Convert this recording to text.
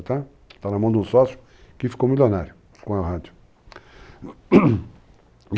Está na mão de um sócio que ficou milionário com a rádio.